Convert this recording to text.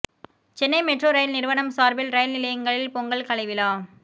Chennai metro rail நிறுவனம் சார்பில் rail நிலையங்களில் பொங்கல் கலைவிழா